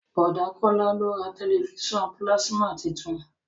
Bọ̀dá Kọ́lá ló ra tẹ̀lifísàn pílásímà tuntun